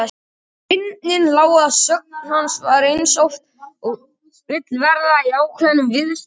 Fyndnin lá að sögn hans eins og oft vill verða í ákveðnum viðsnúningi.